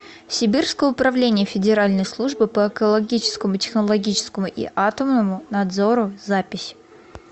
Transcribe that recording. сибирское управление федеральной службы по экологическому технологическому и атомному надзору запись